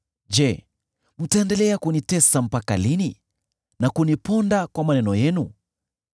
“Je, mtaendelea kunitesa mpaka lini, na kuniponda kwa maneno yenu?